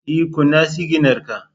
E, kunna siginar ka